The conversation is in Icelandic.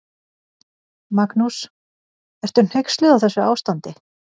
Magnús: Ertu hneyksluð á þessu ástandi?